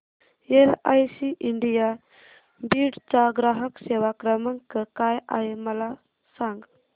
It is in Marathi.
एलआयसी इंडिया बीड चा ग्राहक सेवा क्रमांक काय आहे मला सांग